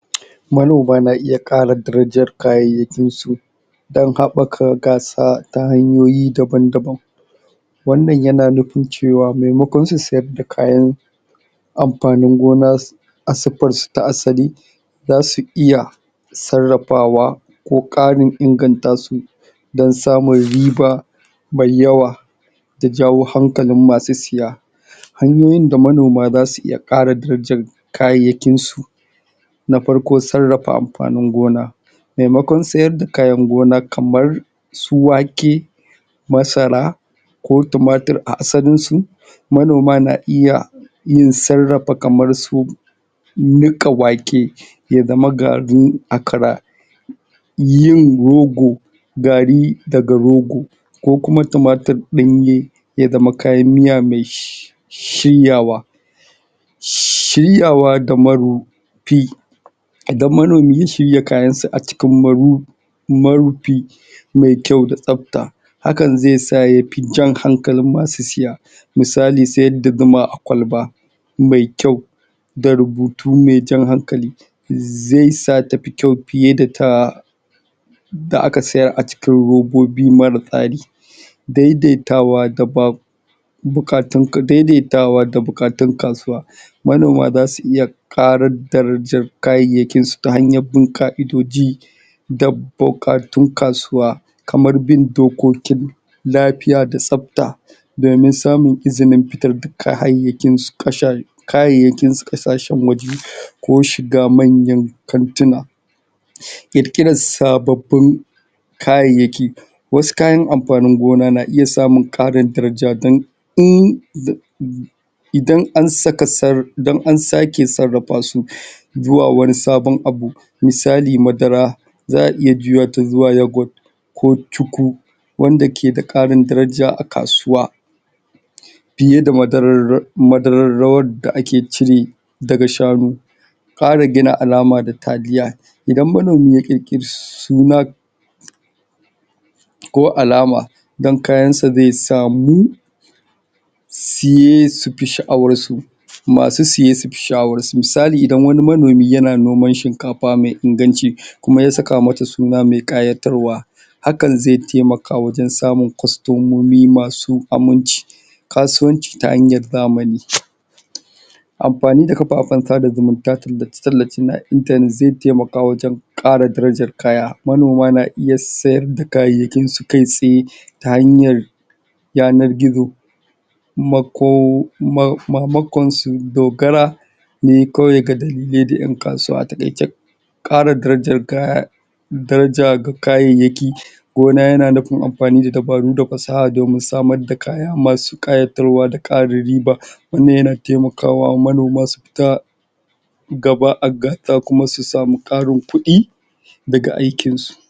Manoma na iya ƙara darajar kayayyakinsu don haɓaka gasa ta hanyoyi daban daban wannan yana nufin cewa maimakon su siyar da kayan amfanin gona siffarsu ta asali za su iya sarrafawa ko ƙarin inganta su don samun riba mai yawa da jawo hankalin masu siya hanyoyin da manoma za su ƙara darajar kayansu na farko sarrafa amfanin gona maimakon siyar da kayan gona kamar su wake masara ko tumatur a asalinsu, manoma na iya yin sarrafa kamarsu niƙa wake ya zama garin akara yin rogo gari daga rogo ko tumaturi anye ya zaman kayan miya mai shinyawa shiryawa da marufi idan manomi ya shirya kayan sa a cikin marufi mai kyau da tsabta, hakan sa ya fi jan hankalin masu siya misali siyar da zuma a kwalba mai kyau da rubutu mai jan hankali zai sa ta fi kyau fiye da ta da aka siyaa cikin robobi mara tsari. daidaitawa daban buƙatan ka daidaita da buƙatan kasuwa manoma za su iya ƙara darajara kayyayyakinsu ta hanyar bin ƙa'idoji da buƙatun kasuwa kamar bin dokokin lafiya da tsabta domin samun izinin fitar da kayayyakinsu ƙasashen waje ko shiga manyan kantuna ƙirƙirar sababbin kayayyaki. wasu kayan amfanin gona na iya samun ƙarin daraja don in da idan an saka sab, idan an sake sabaƙasu zuwa wani sabon abu misali madara za a iya juya ta zuwa Youghurt ko cuku wanda ke da ƙarin daraja a kasuwa fiye da madarar madarar rawar da ake cira daga shanu ƙarin gina alama da kariya, ida manomi ya ƙirƙiri suna ko alama don kayansa zai samu iye su fi sha'awansu masu siye su fi sha'awansu misali idan wani manomi yana noman shinkafa mai inganci kuma ya saka mata suna mai ƙayatarwa hakan zai taimaka wajen samun kwastomomi masu aminci. Kasuwanci ta hanyar zamani amfani da kafafen sada zumunta tallace tallace na intanet zai taimaka wajen ƙara darajar kaya manoma na iya siyar da kayyayyakinsu kai tsaye ta hanyar yanar gizo mako maimakon su dogara ne kawai ga dalilai na ƴan kasuwa ƙara darajar kaya daraja ga kayayyaki gona yana nufin amfani da dabaru da fasaha domin samar da kaya masu ƙayatarwa da ƙarin riba wannan yana taimakawa manoma su fita ga ba a kuma su samu ƙarin kuɗi daga aikinsu.